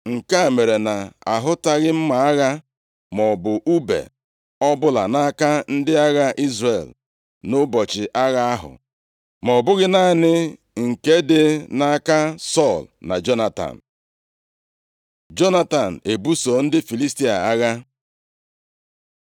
Nke mere na ahụtaghị mma agha + 13:22 \+xt Nkp 5:8\+xt* maọbụ ùbe ọbụla nʼaka ndị agha Izrel nʼụbọchị agha ahụ, ma ọ bụghị naanị nke dị nʼaka Sọl na Jonatan. + 13:22 Ọ bụ ụta na àkụ ka ndị Izrel ji lụọ ọgụ. Jonatan ebuso ndị Filistia agha